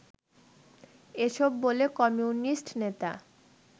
এসব বলে কমিউনিস্ট নেতা